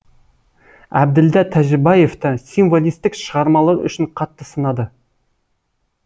әбділда тәжібаевты символистік шығармалары үшін қатты сынады